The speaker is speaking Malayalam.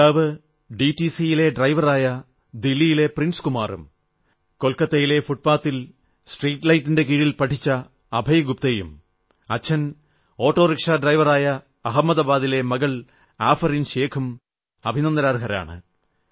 പിതാവ് ഡിടിസിയിലെ ഡ്രൈവറായ ദില്ലിയിലെ പ്രിൻസ് കുമാറും കൊൽക്കത്തയിലെ ഫുട്പാത്തിൽ സ്ട്രീറ്റ് ലൈറ്റിന്റെ കീഴിൽ പഠിച്ച അഭയ് ഗുപ്തയും അച്ഛൻ ഓട്ടോറിക്ഷാ ഡ്രൈവറായ അഹമ്മദാബാദിലെ മകൾ ആഫറീൻ ഷൈഖും അഭിനന്ദനാർഹരാണ്